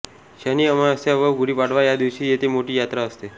शनि अमावास्या व गुढीपाडवा या दिवशी येथे मोठी यात्रा असते